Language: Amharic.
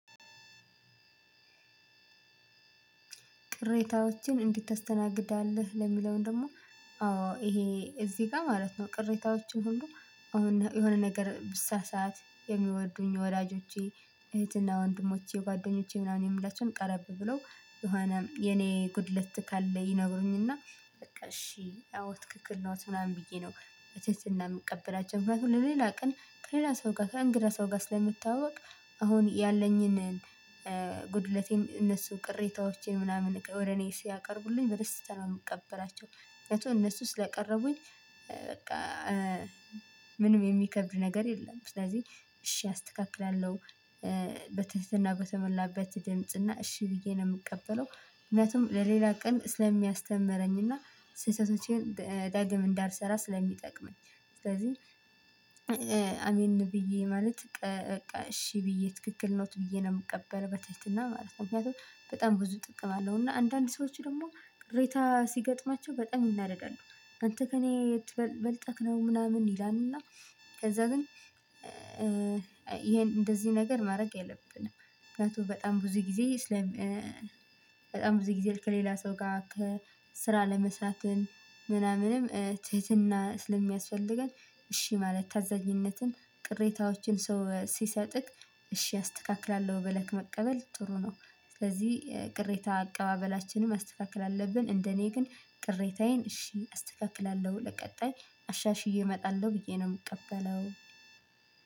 ቅሬታዎችን እንዴት ታስተናግዳለህ? ለሚለው ደግሞ አዎ ይሄ እዚህ ጋ ቅሬታዎችን ሁሉ የሆን የሆነ ነገር ብሳሳት የሚወዱኝ ወላጆቼ እህትና ወንድሞቼ ጓደኞቼ ምናምን የምላቸውን ቀረብ ብለው የሆነ የኔ ጉድለት ካለ ይነግሩኝና በቃ እሺ አዎ ትክክል ነው ምናምን ብዬ ነው። በትህትና እንደምቀበላቸው ምክንያቱም ለሌላ ቀን ከሌላ ሰው ጋር ከእንግዳ ሰው ጋር ስለምታወቅ አሁን ያለኝን ጉድለቴን እነሱ ቅሬታዎቼ ምናምን ወደ እኔ ሲያቀርቡልኝ በደስተኛ ነው የምቀበላቸው። እነሱ ስለቀረቡኝ በቃ ምንም የሚከብድ ነገር የለም። ስለዚህ እሺ አስተካክላለሁ። በትህትና በተመላበት ድምጽ እና እሺ ብዬ ነው የምቀበለው ምክንያቱም ለሌላ ቀን ስለሚያስተምረኝና ስህተቶቼን ዳግም እንዳልሰራ ስለሚጠቅመኝ። ስለዚህ አሜን ብዬ ማለት እሺ ብዬ ትክክል ነው ብዬ ነው የምቀበለው ብትህትናማለት ነው። ምክንያቱም በጣም ብዙ ጥቅም አለው እና አንዳንድ ሰዎች ደግሞ ቅሬታ ሲገጥማቸው በጣም ይናደዳሉ። አንተ ከእኔ የት በልጠክ ነው ምናምን ይላልና። ከዛ ግን ይሄን እንደዚህ ነገር ማድረግ የለብንም። ምክንያቱም በጣም ብዙ ጊዜ ስለ በጣም ብዙ ጊዜ ከሌላ ሰው ጋር ከስራ ለመስራትን ምናምንም ትህትና ስለሚያስፈልገን። እሺ ማለት ታዛኝነትን ቅሬታዎችን ሰው ሲሰጥክ እሺ አስተካክላለሁ በለክ መቀበል ጥሩ ነው። ስለዚህ ቅሬታ አቀባበላችንን ማስተካከል አለብን። እንደኔ ግን ቅሬታዬን እሺ አስተካክላለሁ ለቀጣይ አሻሽዬ እመጣለሁ ብዬ ነው የምቀበለው።